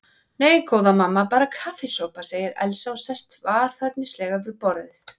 Nei, góða mamma, bara kaffisopa, segir Elsa og sest varfærnislega við borðið.